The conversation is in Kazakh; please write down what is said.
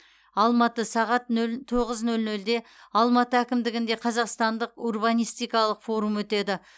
алматы сағат нөл тоғыз нөл нөлде алматы әкімдігінде қазақстандық урбанистикалық форум өтеді